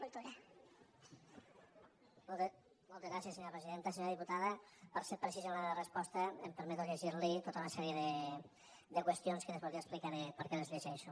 senyora diputada per ser precís en la resposta em permeto llegir li tota una sèrie de qüestions que després li explicaré per què les llegeixo